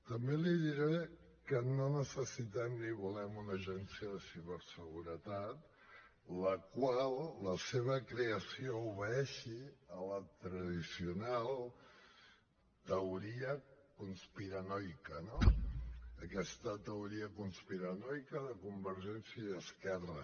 també li diré que no necessitem ni volem una agència de ciberseguretat que la seva creació obeeixi a la tradicional teoria conspiranoica no a aquesta teoria conspiranoica de convergència i esquerra